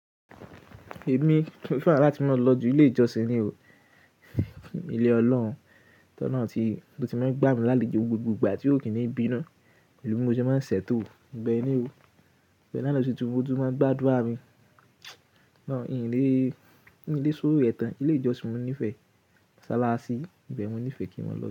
Èmi, mo fẹ́ràn láti máa lọ ju Ilé ìjọsìn ni o, ilé Ọlọ́hun, tó olohun ti, tó ti máa ń gbá mi lálejò gbogbo ìgbà tí ó kí ni bí nú. Pelú bí mó ṣe máa ń ṣètò ìbẹ ni o, bẹ́ẹ̀ náà lọ sí tún, ó tú máa ń gbádúrà mi. Nlé sórí rẹ̀ tàn, ilé ìjọsìn mo nífẹ̀ẹ́ mosálásí, ibẹ́ẹ̀ mo nífẹ̀ẹ́ kí mo lọ.